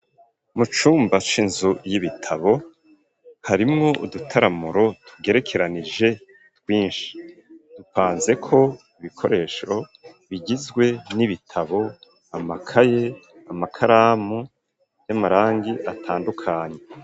Mu cumba c’inzu y'ibitabo, harimwo udutaramuro, tugerekeranije, twinshi; dupanzeko, ibikoresho, bigizwe n'ibitabo, amakaye, amakaramu, y'amarangi atandukanye.